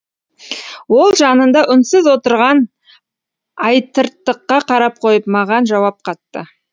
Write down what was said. ол жанында үнсіз отырған айтыртыққа қарап қойып маған жауап қатты